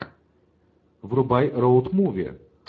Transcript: врубай роуд муви